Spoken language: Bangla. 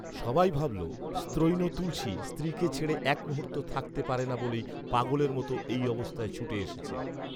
সবাই ভাবল, স্ত্রৈণ তুলসী স্ত্রীকে ছেড়ে একমুহূর্ত থাকতে পারে না বলেই পাগলের মত এই অবস্থায় ছুটে এসেছে